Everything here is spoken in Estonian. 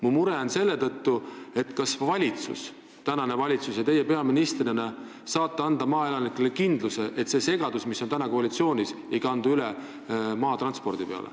Mu mure on selles, kas praegune valitsus ja teie peaministrina saate anda maaelanikele kindluse, et see segadus, mis on praegu koalitsioonis, ei kandu üle maatranspordi peale.